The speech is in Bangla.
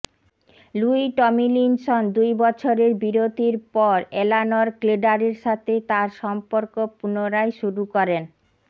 লুই টমিলিনসন দুই বছরের বিরতির পর এলানর ক্লেডারের সাথে তার সম্পর্ক পুনরায় শুরু করেন